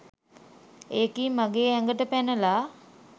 ඒකී මගේ ඇඟට පැනලා